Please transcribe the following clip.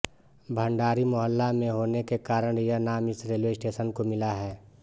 भंडारी मोहल्ला मे होने के कारण यह नाम इस रेलवे स्टेशन को मिला है